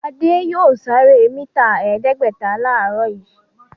Adé yóò sáré níta ẹ̀ẹ́dẹ́gbẹ̀ta láàárọ̀ yìí.